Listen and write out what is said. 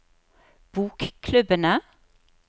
bokklubbene